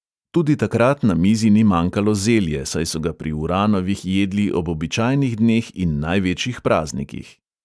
Tudi takrat na mizi ni manjkalo zelje, saj so ga pri uranovih jedli ob običajnih dneh in največjih praznikih.